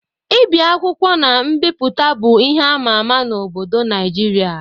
Ibi akwụkwọ na mbipụta bụ ihe ama ama n'obodo Naịjirịa.